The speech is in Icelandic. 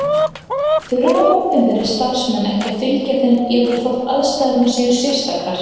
Þurfa opinberir starfsmenn ekki að fylgja þeim jafnvel þótt aðstæður séu sérstakar?